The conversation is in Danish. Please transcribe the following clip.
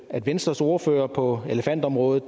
at venstres ordfører på elefantområdet